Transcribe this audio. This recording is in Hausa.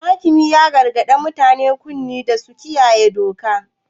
Hakimi ya gargadi mutanen ƙauye da su kiyaye doka.